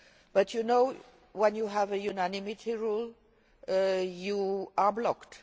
But, as you know, when you have a unanimity rule you are blocked.